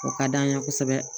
O ka d'an ye kosɛbɛ